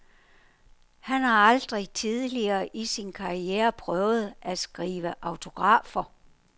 Han har aldrig tidligere i sin karriere prøvet at skrive autografer.